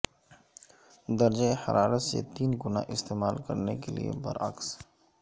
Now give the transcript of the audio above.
درجہ حرارت سے تین گنا استعمال کرنے کے لئے برعکس